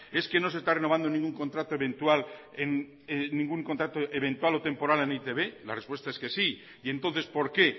es que no se está renovando ningún contrato eventual o temporal en e i te be la respuesta es que sí y entonces por qué